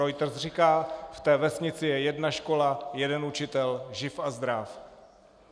Reuters říká: V té vesnici je jedna škola, jeden učitel, živ a zdráv.